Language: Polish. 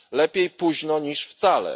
Lepiej późno niż wcale.